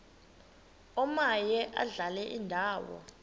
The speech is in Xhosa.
omaye adlale indawo